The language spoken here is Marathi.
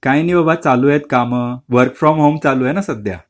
काय नाही बाबा चालू आहेत काम, वर्क फ्रॉम होम चालू आहे न सध्या